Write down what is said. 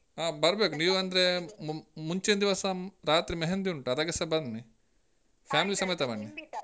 ಹಾ ಬರ್ಬೇಕು. ನೀವ್ ಅಂದ್ರೇ ಮು~ ಮುಂಚಿನ್ ದಿವಸ ರಾತ್ರಿ मेहंदी ಉಂಟು ಅದಕ್ಕೆಸ ಬನ್ನಿ. family ಸಮೇತ ಬನ್ನಿ.